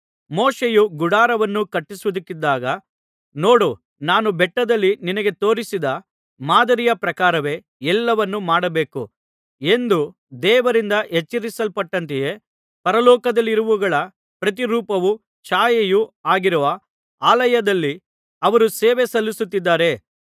ಮೋಶೆಯು ಗುಡಾರವನ್ನು ಕಟ್ಟುವುದಕ್ಕಿದ್ದಾಗ ನೋಡು ನಾನು ಬೆಟ್ಟದಲ್ಲಿ ನಿನಗೆ ತೋರಿಸಿದ ಮಾದರಿಯ ಪ್ರಕಾರವೇ ಎಲ್ಲವನ್ನೂ ಮಾಡಬೇಕು ಎಂದು ದೇವರಿಂದ ಎಚ್ಚರಿಸಲ್ಪಟ್ಟಂತೆಯೇ ಪರಲೋಕದಲ್ಲಿರುವವುಗಳ ಪ್ರತಿರೂಪವೂ ಛಾಯೆಯೂ ಆಗಿರುವ ಆಲಯದಲ್ಲಿ ಅವರು ಸೇವೆ ಸಲ್ಲಿಸುತ್ತಿದ್ದಾರೆ